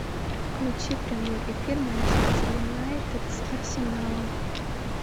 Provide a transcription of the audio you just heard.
включи прямой эфир манчестер юнайтед с арсеналом